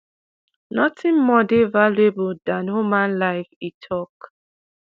"nothing more dey valuable dan human life" e tok.